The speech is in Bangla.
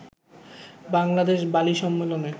বাংলাদেশ বালি সম্মেলনে